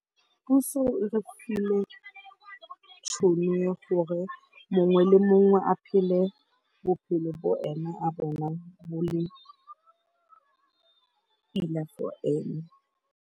Puso e re file tšhono ya gore mongwe le mongwe a phele bophelo bo ena a bonang bo le enough for ene.